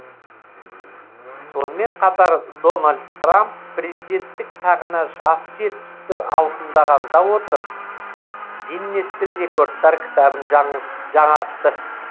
сонымен қатар дональд трамп президенттік тағына жасы жетпісті алқымдағанда отырып гиннестің рекордтар кітабын жаңғ жаңартты